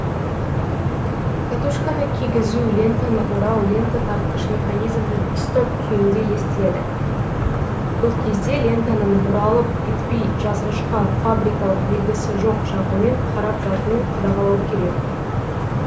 катушканы кигізу лентаны орау лента тартқыш механизмнің стоп күйінде естіледі бұл кезде лентаның бұралып кетпей жазғышқа фабрикалық белгісі жоқ жағымен қарап жатуын қадағалау керек